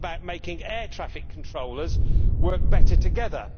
It is about making air traffic controllers work better together.